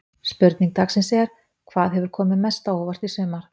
Spurning dagsins er: Hvað hefur komið mest á óvart í sumar?